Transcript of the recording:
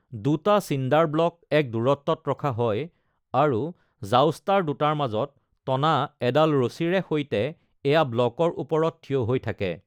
দুটা চিণ্ডাৰ ব্লক এক দূৰত্বত ৰখা হয় আৰু জাউষ্টাৰ দুটাৰ মাজত টনা এডাল ৰছীৰে সৈতে এয়া ব্লকৰ ওপৰত থিয় হৈ থাকে।